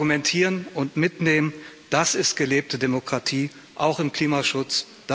Argumentieren und mitnehmen das ist gelebte Demokratie, auch im Klimaschutz.